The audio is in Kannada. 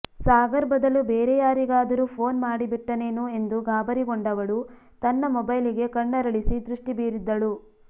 ಸಾಗರ್ ಬದಲು ಬೇರೆಯಾರಿಗಾದರೂ ಫೋನ್ ಮಾಡಿಬಿಟ್ಟೆನೇನೋ ಎಂದು ಗಾಬರಿಗೊಂಡವಳು ತನ್ನ ಮೊಬೈಲಿಗೆ ಕಣ್ಣರಳಿಸಿ ದೃಷ್ಟಿ ಬೀರಿದ್ದಳು